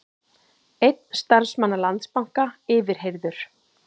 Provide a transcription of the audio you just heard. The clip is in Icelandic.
Einn starfsmanna Landsbanka yfirheyrður